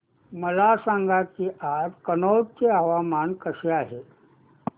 मला सांगा की आज कनौज चे हवामान कसे आहे